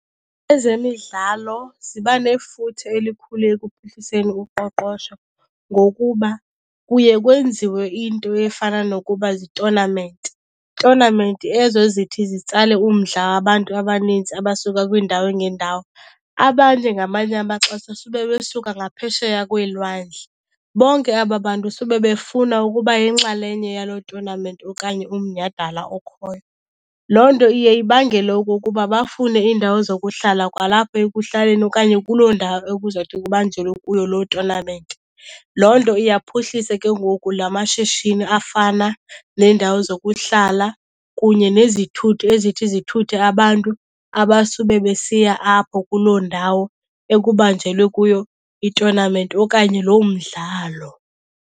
Ezemidlalo ziba nefuthe elikhulu ekuphuhliseni uqoqosho ngokuba kuye kwenziwe into efana nokuba ziitonamenti. Tonamenti ezo zithi zitsale umdla wabantu abanintsi abasuka kwiindawo ngeendawo, abanye ngamanye amaxesha sube besuka ngaphesheya kweelwandle. Bonke aba bantu sube befuna ukuba yinxalenye yaloo tonamenti okanye umnyhadala okhoyo. Loo nto iye ibangele okokuba bafune iindawo zokuhlala kwalapha ekuhlaleni okanye kuloo ndawo ekuzawuthi kubanjelwe kuyo loo tonamenti. Loo nto iyaphuhlisa ke ngoku lama shishini afana neendawo zokuhlala kunye nezithuthi ezithi zithuthe abantu abasube besiya apho kuloo ndawo ekubanjelwe kuyo itonamenti okanye loo mdlalo.